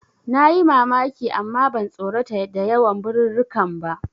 Nayi mamaki amma ban tsorata da yawan birirrikan ba.